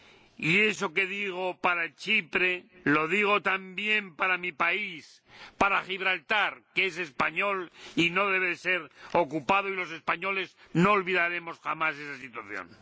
Y eso que digo para Chipre lo digo también para mi país, para Gibraltar, que es español y no debe ser ocupado, y los españoles no olvidaremos jamás esa situación.